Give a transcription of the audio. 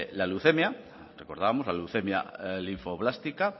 la leucemia recordábamos la leucemia linfoblástica